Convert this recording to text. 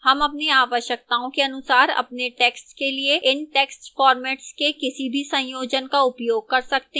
हम अपनी आवश्यकताओं के अनुसार अपने text के लिए इन text formats के किसी भी संयोजन का उपयोग कर सकते हैं